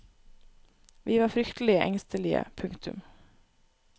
Vi var fryktelig engstelige. punktum